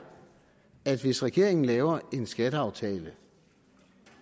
at hvis regeringen laver en skatteaftale